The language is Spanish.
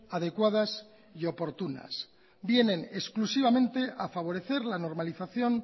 adecuadas y oportunas vienen exclusivamente a favorecer la normalización